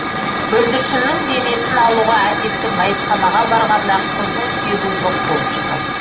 бүлдіршіннің денесін алуға әкесі мәйітханаға барғанда қызының сүйегі жоқ болып шығады